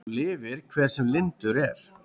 Svo lifir hver sem lyndur er.